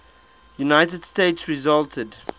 united states resulted